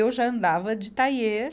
Eu já andava de tailleur